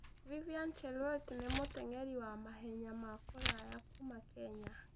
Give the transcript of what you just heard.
Vivian Cheruiyot nĩ mũteng'eri wa mahenya ma kũraya kuuma Kenya.